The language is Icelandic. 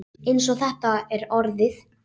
Eins og þetta er orðið.